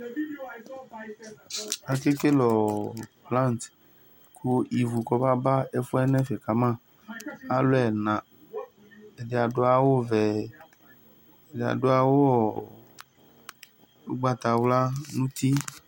Akekele braŋdɩ kʋ ɩvʋ kɔbaba ɛfʋɛ nɛfɛ kama Alu ɛna; ɛdɩ adu awuvɛ, ɛdɩ adu awu ugbatawla nʋ uti